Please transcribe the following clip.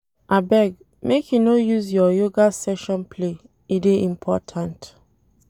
Abeg, make you no use your yoga session play, e dey important.